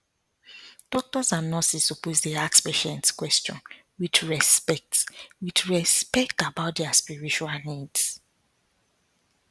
doctors and nurses suppose dey ask patients question with respect with respect about their spiritual needs